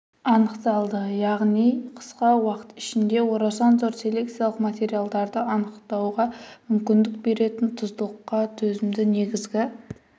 анықталды яғни қысқа уақыт ішінде орасан зор селекциялық материалдарды анықтауға мүмкіндік беретін тұздылыққа төзімді негізгі